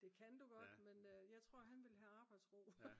det kan du godt men jeg tror han ville have arbejdsro